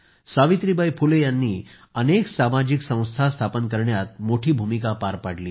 सावित्रीबाई फुले यांनी अनेक सामाजिक संस्था स्थापन करण्यामध्ये मोठी भूमिका पार पाडली